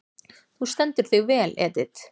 Þú stendur þig vel, Edit!